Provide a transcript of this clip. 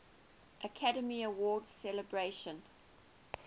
academy awards ceremony